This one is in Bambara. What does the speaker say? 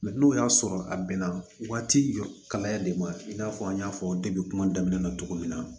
n'o y'a sɔrɔ a bɛnna waati jɔ kalaya de ma i n'a fɔ an y'a fɔ debi kuma daminɛ na cogo min na